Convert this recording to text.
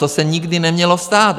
To se nikdy nemělo stát.